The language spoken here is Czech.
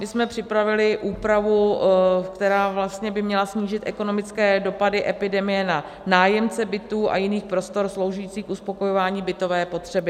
My jsme připravili úpravu, která vlastně by měla snížit ekonomické dopady epidemie na nájemce bytů a jiných prostor sloužících k uspokojování bytové potřeby.